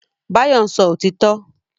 Báyọ̀ ń sọ òtítọ́